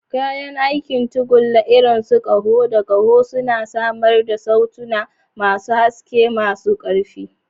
Kayan aikin tagulla, irin su ƙaho da ƙaho, suna samar da sautuna masu haske, masu ƙarfi.